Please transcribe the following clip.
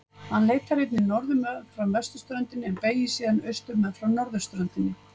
Hann leitar einnig norður meðfram vesturströndinni og beygir síðan austur með norðurströndinni.